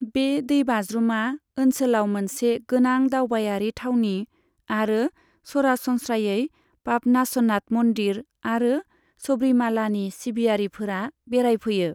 बे दैबाज्रुमा ओनसोलाव मोनसे गोनां दावबायारि थावनि आरो सरासनस्रायै पापनासनाथ मन्दिर आरो सब्रीमालानि सिबियारिफोरा बेरायफैयो।